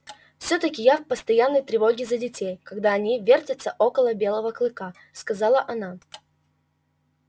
всё-таки я в постоянной тревоге за детей когда они вертятся около белого клыка сказала она